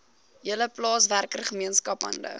hele plaaswerkergemeenskap hande